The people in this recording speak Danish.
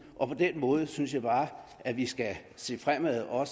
og på den måde synes jeg bare at vi skal se fremad og